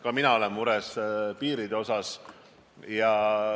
Ka mina olen mures piiride pärast.